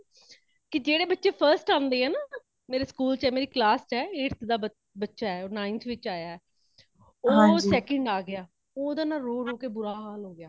ਕੇ ਜੇੜੇ ਬੱਚੇ first ਆਉਂਦੇ ਹੈ ਨਾ , ਮੇਰੇ school ਚ ਹੈ ਮੇਰੀ class ਚ ਹੈ। eighth ਦਾ ਬੱਚਾ ਹੈ ,ninth ਵਿਚ ਆਯਾ ਹੇ ਉਹ second ਆ ਗਯਾ ,ਓਦਾਂ ਨਾ ਰੋਹ ਰੋਹ ਕੇ ਬੁਰਾ ਹਾਲ ਹੋ ਗਯਾ